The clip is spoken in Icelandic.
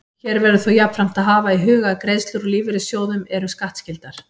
Hér verður þó jafnframt að hafa í huga að greiðslur úr lífeyrissjóðum eru skattskyldar.